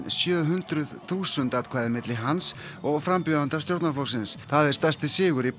sjö hundruð þúsund atkvæði á milli hans og frambjóðanda stjórnarflokksins það er stærsti sigur í